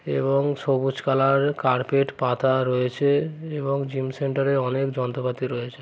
এবং সবুজ কালার এর কার্পেট পাতা রয়েছে এবং জিম সেন্টারে অনেক যন্ত্রপাতি রয়েছে।